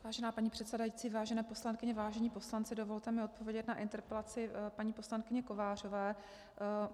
Vážená paní předsedající, vážené poslankyně, vážení poslanci, dovolte mi odpovědět na interpelaci paní poslankyně Kovářové.